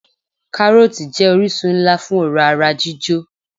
Káròòtì jé orísun nlá fún òrá ara jíjò